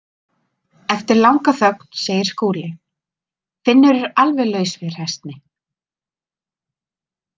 Eftir langa þögn segir Skúli: Finnur er alveg laus við hræsni.